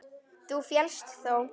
Þú féllst þó?